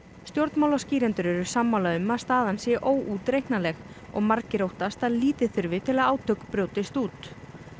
stjórnmálaskýrendur eru sammála um að staðan sé óútreiknanleg og margir óttast að lítið þurfi til að átök brjótist út